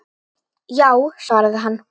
Já, svaraði hann.